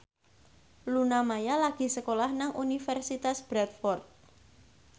Luna Maya lagi sekolah nang Universitas Bradford